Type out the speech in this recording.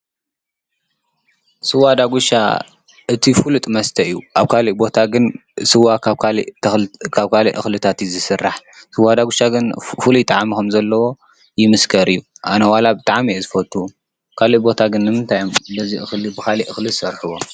ስዋ ዳጉሻ እቲ ፍሉጥ መስተ እዩ ፡፡ ኣብ ካሊእ ቦታ ግን ስዋ ካብ ካሊእ እክልታት እዩ ዝስራሕ፡፡ ስዋ ዳጉሻ ግን ፍሉይ ጣዕሚ ከም ዘለዎ ይምስከር እዩ፡፡ ኣነ ዋላ ብጣዕሚ እየ ዝፈቱ። ካሊእ ቦታ ግን ነዚ እክሊ ብካሊእ እክሊ ዝሰርሕዎ?